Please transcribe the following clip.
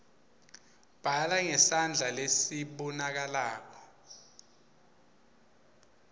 bhala ngesandla lesibonakalako